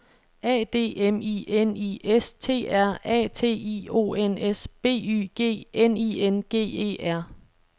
A D M I N I S T R A T I O N S B Y G N I N G E R